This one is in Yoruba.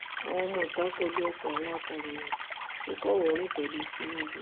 àwọn ọmọọta kọ lu ọkọ àwọn akọròyìn tó kọwòọrìn pẹlú tinubu